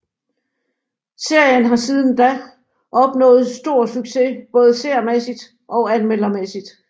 Serien har siden da opnået stor succes både seermæssigt og anmeldermæssigt